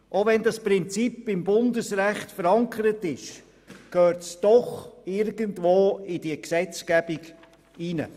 Auch wenn dieses Prinzip im Bundesrecht verankert ist, gehört es doch irgendwie in diese Gesetzgebung hinein.